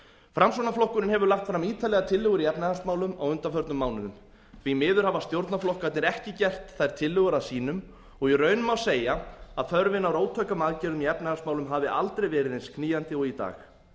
framsóknarflokkurinn hefur lagt fram ítarlegar tillögur í efnahagsmálum á undanförnum mánuðum því miður hafa stjórnarflokkarnir ekki gert þær tillögur að sínum og í raun má segja að þörfin á róttækum aðgerðum í efnahagsmálum hafi aldrei verið eins knýjandi og í dag